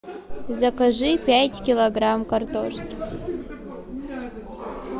закажи пять килограмм картошки